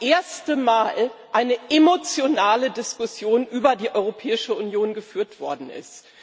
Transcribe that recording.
ersten Mal eine emotionale Diskussion über die Europäische Union geführt worden ist.